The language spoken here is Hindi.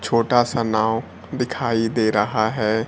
छोटा सा नाव दिखाई दे रहा है।